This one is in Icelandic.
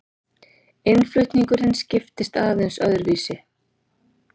Innflutningurinn skiptist aðeins öðruvísi.